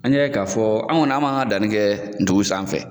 An y'a ye k'a fɔ, an kɔni an b'an ka danni kɛ dugu sanfɛ.